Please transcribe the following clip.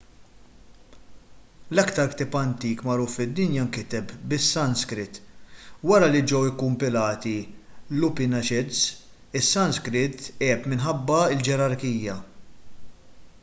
l-iktar ktieb antik magħruf fid-dinja inkiteb bis-sanskrit wara li ġew ikkumpilati l-upanishads is-sanskrit għeb minħabba l-ġerarkija